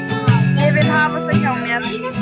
Ég vil hafa þau hjá mér.